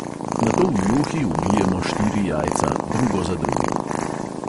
Nato v juhi ubijemo štiri jajca, drugo za drugim.